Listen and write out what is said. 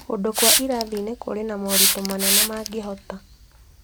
Kũndũ kwa irathi-inĩ kũrĩ na moritũ manene mangĩhota